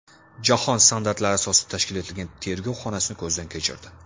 Jahon standartlari asosida tashkil etilgan tergov xonasini ko‘zdan kechirdi.